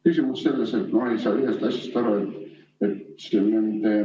Küsimus on selles, et ma ei saa ühest asjast aru.